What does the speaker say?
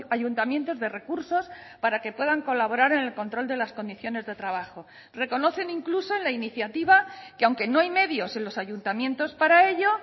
ayuntamientos de recursos para que puedan colaborar en el control de las condiciones de trabajo reconocen incluso en la iniciativa que aunque no hay medios en los ayuntamientos para ello